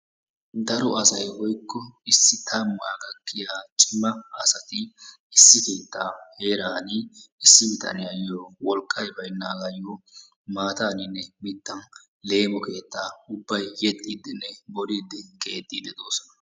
Daro asay woykko issi tammaa gakkiyaa cima asati issi keettaa heeran issi bitaniyayo wolqqay baynaagayoo maataninne mittan yeemo keettaa ubbay keexxidinne boolidi keexxidi doosona.